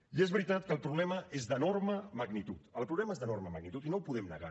i és veritat que el problema és d’enorme magnitud el problema és d’enorme magnitud i no ho podem negar